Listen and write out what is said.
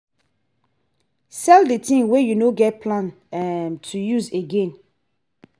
sell di things wey you no get plans um to use again